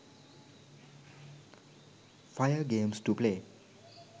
fire games to play